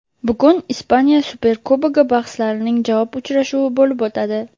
Bugun Ispaniya Superkubogi bahslarining javob uchrashuvi bo‘lib o‘tadi.